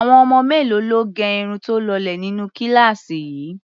Àwọn ọmọ mélòó ló gẹ irun tó lọlẹ̀ nínú kíláàsì yín?